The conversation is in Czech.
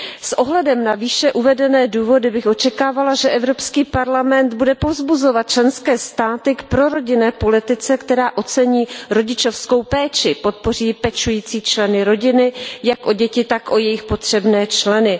S ohledem na výše uvedené důvody bych očekávala, že Evropský parlament bude povzbuzovat členské státy k prorodinné politice, která ocení rodičovskou péči, podpoří členy rodiny pečující jak o děti, tak o jejich potřebné členy.